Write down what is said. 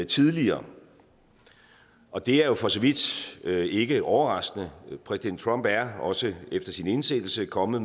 tidligere og det er jo for så vidt ikke overraskende præsident trump er også efter sin indsættelse kommet